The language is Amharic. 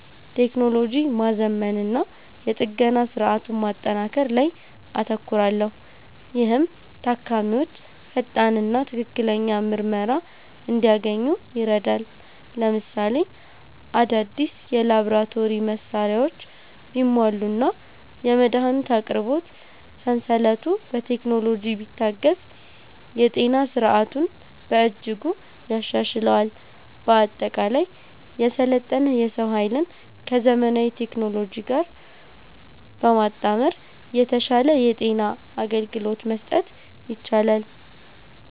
ቴክኖሎጂ ማዘመንና የጥገና ሥርዓቱን ማጠናከር ላይ አተኩራለሁ፤ ይህም ታካሚዎች ፈጣንና ትክክለኛ ምርመራ እንዲያገኙ ይረዳል። ለምሳሌ፣ አዳዲስ የላቦራቶሪ መሣሪያዎች ቢሟሉና የመድኃኒት አቅርቦት ሰንሰለቱ በቴክኖሎጂ ቢታገዝ የጤና ሥርዓቱን በእጅጉ ያሻሽለዋል። በአጠቃላይ፣ የሰለጠነ የሰው ኃይልን ከዘመናዊ ቴክኖሎጂ ጋር በማጣመር የተሻለ የጤና አገልግሎት መስጠት ይቻላል።